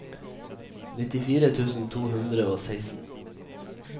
nittifire tusen to hundre og seksten